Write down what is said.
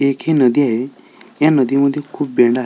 एक हि नदी ये या नदी मध्ये खूप --